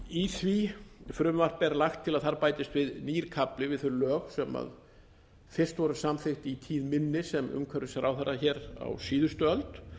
í því frumvarpi er lagt til að þar bætist við nýr kafli við þau lög sem fyrst voru samþykkt í tíð minni sem umhverfisráðherra hér á síðustu öld